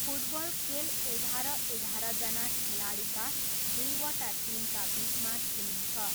Football खेल एघार एघारजना खेलाडीका दुईवटा टिमका बिचमा खेलिन्छ।